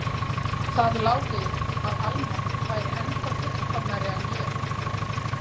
Það lá við að Alma væri ennþá fullkomnari en ég.